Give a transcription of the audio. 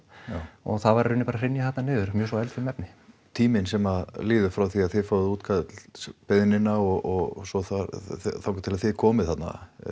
og það var í raun bara að hrynja þarna niður mjög svo eldfim efni já tíminn sem að líður frá því að þið fáið útkallsbeiðnina og svo þangað til að þið komið þarna